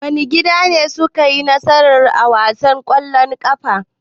Wane gida ne suka yi nasara a wasan ƙwallon ƙafan?